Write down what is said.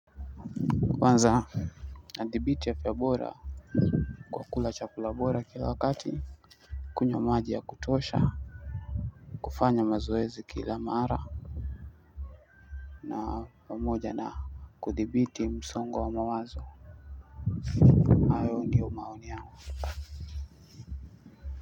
Kwanza nadhibiti afya bora kwa kula chakula bora kila wakati kunywa maji ya kutosha kufanya mazoezi kila mara na pamoja na kudhibiti msongo wa mawazo.